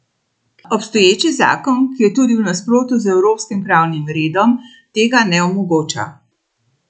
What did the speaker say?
Obstoječi zakon, ki je tudi v nasprotju z evropskim pravnim redom, tega ne omogoča.